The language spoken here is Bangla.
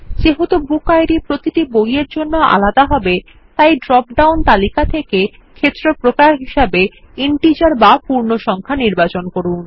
যেহেতু বুকিড প্রতিটি বইয়ের জন্য আলাদা হবে তাই ড্রপডাউন তালিকা থেকে ফিল্ড টাইপ বা ক্ষেত্র প্রকার হিসাবে ইন্টিজার নির্বাচন করুন